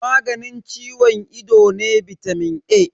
Maganin ciwon ido ne bitamin A.